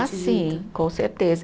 Ah, sim, com certeza.